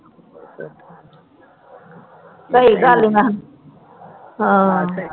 ਸਹੀ ਗੱਲ ਨੀ ਮੈਂ ਹਾਂ ਹਾਂ